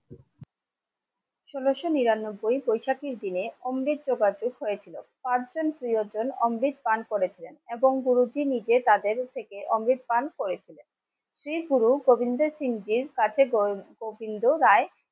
ষোলোশো নিরানব্বই, বৈশাখীর দিনে অমৃত জোগাড় হয়েছিল. পাঁচজন প্রিয়জন অমৃত পান করেছেন. এবং গুরুজি নিজে তাদের থেকে অমৃতবান করেছিলেন শ্রী গুরু গোবিন্দ সিংহের কাঠে গোবিন্দ রায়,